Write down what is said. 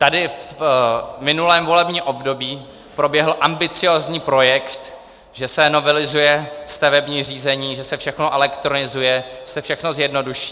Tady v minulém volebním období proběhl ambiciózní projekt, že se novelizuje stavební řízení, že se všechno elektronizuje, že se všechno zjednoduší.